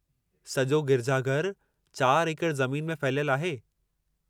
सॼो गिरिजाघरु चार एकड़ ज़मीन में फहलियलु आहे।